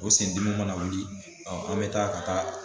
O sen dimi mana wuli an bɛ taa ka taa